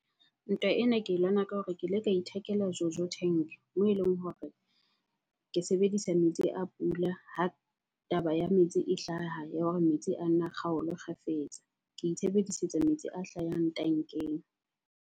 Ntwa ena ke e lwana ka hore ke ile ka ithekela Jojo Tank. Moo eleng hore ke sebedisa metsi a pula ha taba ya metsi e hlaha, ya hore metsi a nna kgaolwe kgafetsa. Ke itshebedisetsa metsi a hlahang tankeng.